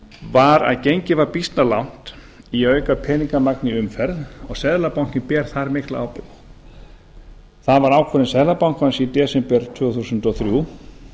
var að gengið var býsna langt í að auka peningamagn í umferð og seðlabankinn ber þar mikla ábyrgð það var ákvörðun seðlabankans í desember tvö þúsund og þrjú